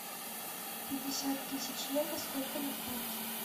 пятьдесят тысяч евро сколько на франки